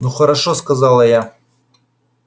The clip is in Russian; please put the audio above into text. ну хорошо сказала я